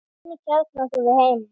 Hvernig kjarnar þú þig heima?